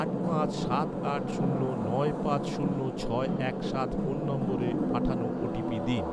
আট পাঁচ সাত আট শূন্য নয় পাঁচ শূন্য ছয় এক সাত ফোন নম্বরে পাঠানো ওটিপি দিন